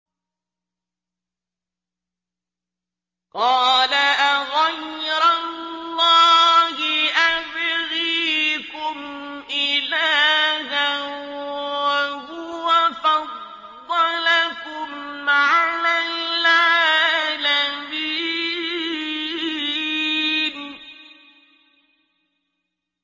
قَالَ أَغَيْرَ اللَّهِ أَبْغِيكُمْ إِلَٰهًا وَهُوَ فَضَّلَكُمْ عَلَى الْعَالَمِينَ